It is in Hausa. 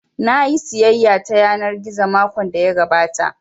Nayi sayayya ta yanar gizo makon da ya gabata